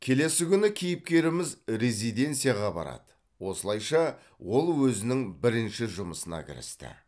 келесі күні кейіпкеріміз резиденцияға барады осылайша ол өзінің бірінші жұмысына кірісті